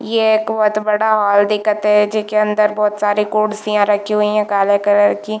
ये एक बहोत बड़ा हॉल दिखत है जेके अंदर बहोत सारे कुर्सियाँ रखी हुई है काले कलर की--